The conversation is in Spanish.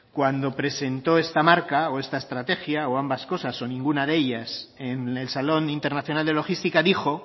cuando presentó esta marca o esta estrategia o ambas cosas o ninguna de ellas en el salón internacional de logística dijo